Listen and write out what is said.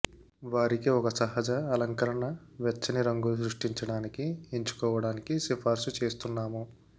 వారికి ఒక సహజ అలంకరణ వెచ్చని రంగులు సృష్టించడానికి ఎంచుకోవడానికి సిఫార్సు చేస్తున్నాము